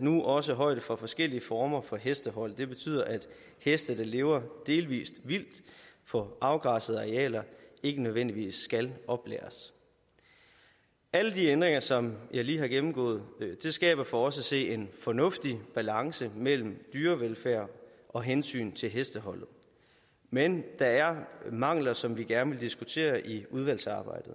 nu også højde for forskellige former for hestehold det betyder at heste der lever delvis vildt på afgrænsede arealer ikke nødvendigvis skal oplæres alle de ændringer som jeg lige har gennemgået skaber for os at se en fornuftig balance mellem dyrevelfærd og hensyn til hestehold men der er mangler som vi gerne vil diskutere i udvalgsarbejdet